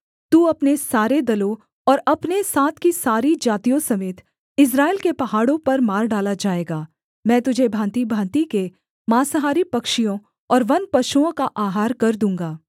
तू अपने सारे दलों और अपने साथ की सारी जातियों समेत इस्राएल के पहाड़ों पर मार डाला जाएगा मैं तुझे भाँतिभाँति के माँसाहारी पक्षियों और वनपशुओं का आहार कर दूँगा